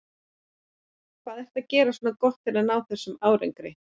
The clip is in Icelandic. Hvað ertu að gera svona gott til að ná þessum árangri?